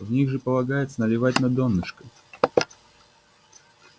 в них же полагается наливать на донышко